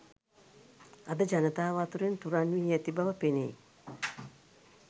අද ජනතාව අතුරින් තුරන් වී ඇති බව පෙනෙයි